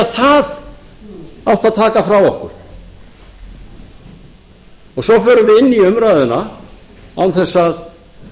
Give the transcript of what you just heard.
það átti að taka frá okkur svo förum við inn í umræðuna án þess að